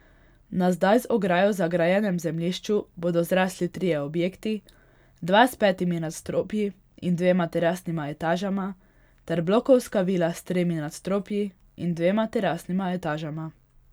Na zdaj z ograjo zagrajenem zemljišču bodo zrasli trije objekti, dva s petimi nadstropji in dvema terasnima etažama ter blokovska vila s tremi nadstropji in dvema terasnima etažama.